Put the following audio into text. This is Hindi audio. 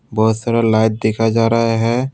बहुत सारा लाइट दिखा जा रहा है।